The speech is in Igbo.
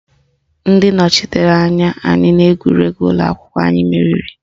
Ndị nọchitere anya anyị n'egwuregwu ụlọakwụkwọ anyị meriri